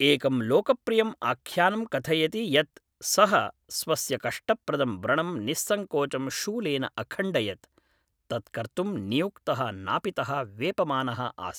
एकं लोकप्रियम् आख्यानं कथयति यत् सः स्वस्य कष्टप्रदं व्रणं निस्सङ्कोचं शूलेन अखण्डयत्, तत् कर्तुम् नियुक्तः नापितः वेपमानः आसीत्।